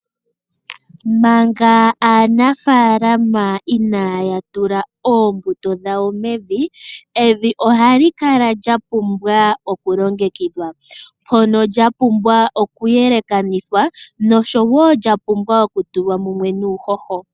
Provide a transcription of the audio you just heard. Manga aanafaalama inaya tula oombuto dhawo mevi, evi ohali kala lya pumbwa oku longekidhwa, ndono lya pumbwa oku yelekanithwa noshowo lya pumbwa oku tulwa mumwe nuuhoho.